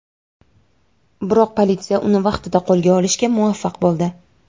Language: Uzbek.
Biroq politsiya uni vaqtida qo‘lga olishga muvaffaq bo‘ldi.